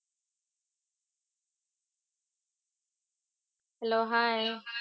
hello hi